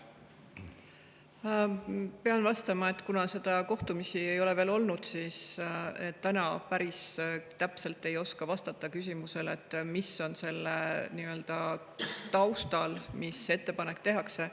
Pean vastama, et kuna neid kohtumisi ei ole veel olnud, siis ma täna päris täpselt ei oska vastata küsimusele, mis on selle ettepaneku taustal, mis tehakse.